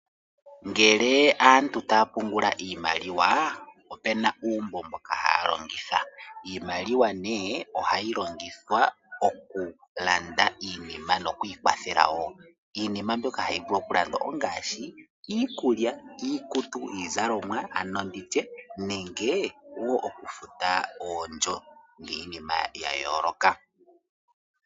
Ngele aantu taya pungula iimaliwa opena uumbo mboka haya longitha. Iimaliwa nee ohayi longithwa okulanda iinima nokwiikwathela wo. Iinima mbyoka hayi vulu okulandwa ongaashi, iikulya, iikutu, iizalomwa ano nditye nenge okufuta oondjo dhiinima yayooloka.